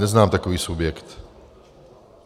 Neznám takový subjekt.